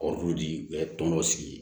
Kɔɔri di ɛ tɔn dɔ sigi